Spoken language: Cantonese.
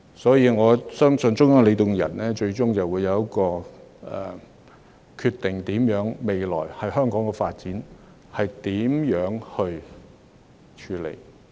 所以，我相信中央領導人最終會就香港的未來發展作出決定。